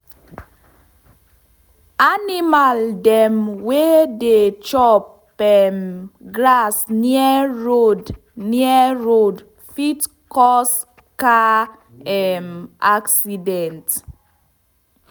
animal dem wey dey chop um grass near road near road fit cause car um accident.